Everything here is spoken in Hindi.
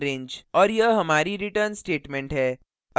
और यह हमारी return statement है